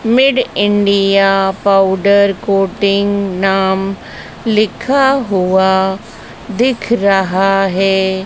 Made India powder coating नाम लिखा हुआ दिख रहा है।